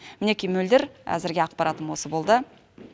мінеки мөлдір әзірге ақпаратым осы болды